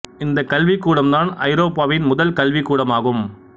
இந்தக் கல்விக்கூடம் தான் ஐரோப்பாவின் முதல் கல்விக் கூடம் ஆகும்